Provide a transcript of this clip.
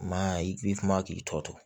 Ma i bi kuma k'i tɔ to